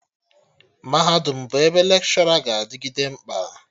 Mahadum bụ ebe Lekshọra ga-adịgịde mkpa